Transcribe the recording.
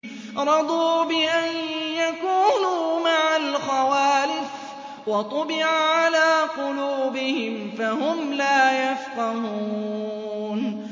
رَضُوا بِأَن يَكُونُوا مَعَ الْخَوَالِفِ وَطُبِعَ عَلَىٰ قُلُوبِهِمْ فَهُمْ لَا يَفْقَهُونَ